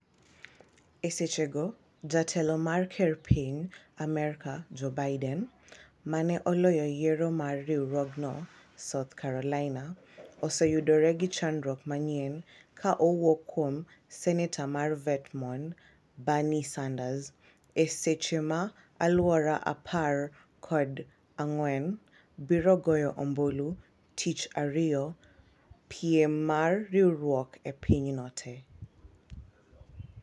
e seche go jatelo mar ker mar Piny Amerka Joe Biden, ma ne oloyo yiero mar riwruogno South Carolina, oseyudore gi chandruok manyien ka owuok kuom senetor mar Vermont Bernie Sanders e seche ma alwora apar koda ng'wen biro goyo ombulu tich ariyo piem mar riwruok e pinyno te